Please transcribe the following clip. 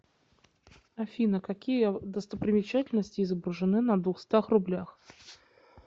афина какие достопримечательности изображены на двухстах рублях